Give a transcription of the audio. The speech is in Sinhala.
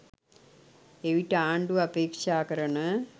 එවිට ආණ්ඩුව අපේක්ෂා කරන